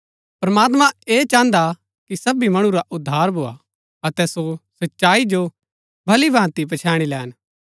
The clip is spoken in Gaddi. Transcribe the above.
प्रमात्मां ऐह चाहन्दा कि सबी मणु रा उद्धार भोआ अतै सो सच्चाई जो भली भाँति पछैणी लैन